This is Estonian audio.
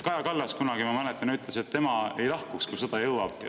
Kaja Kallas kunagi, ma mäletan, ütles, et tema ei lahkuks, kui sõda siia jõuab.